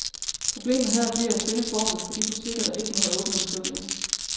Problemet her bliver at finde formlen for de butikker, der ikke må have åbent om søndagen.